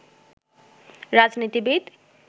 রাজনীতিবিদ